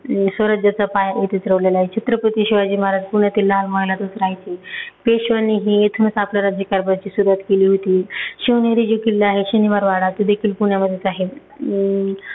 स्वराज्याचा पाया इथेच रोवलेलाय. छत्रपती शिवाजी महाराज पुण्यातील लाल महालातच रहायचे. पेश्व्यांनीही इथूनच आपल्या राज्यकारभाराची सुरूवात केली होती. शिवनेरी जे किल्ला आहे शनिवारवाडा तो देखील पुम्यामध्येच आहे. अं